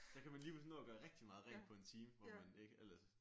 Så kan man lige pludselig nå at gøre rigtig meget rent på 1 time hvor man ikke ellers